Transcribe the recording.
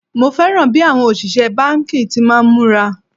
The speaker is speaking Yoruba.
Mo fẹ́ràn bí àwọn òṣìṣẹ́ báńkì ti máa ń múra